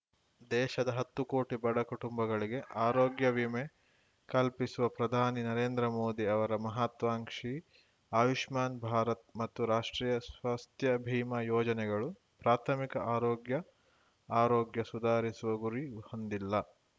ದೇಶದ ಹತ್ತು ಕೋಟಿ ಬಡ ಕುಟುಂಬಗಳಿಗೆ ಆರೋಗ್ಯ ವಿಮೆ ಕಲ್ಪಿಸುವ ಪ್ರಧಾನಿ ನರೇಂದ್ರ ಮೋದಿ ಅವರ ಮಹತ್ವಾಂಕ್ಷಿ ಆಯುಷ್ಮಾನ್‌ ಭಾರತ್‌ ಮತ್ತು ರಾಷ್ಟ್ರೀಯ ಸ್ವಾಸ್ಥ್ಯ ಭೀಮಾ ಯೋಜನೆಗಳು ಪ್ರಾಥಮಿಕ ಆರೋಗ್ಯ ಆರೋಗ್ಯ ಸುಧಾರಿಸುವ ಗುರಿ ಹೊಂದಿಲ್ಲ